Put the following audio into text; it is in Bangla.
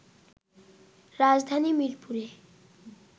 রাজধানীর মিরপুরে